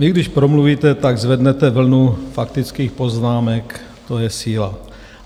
Vy když promluvíte, tak zvednete vlnu faktických poznámek, to je síla.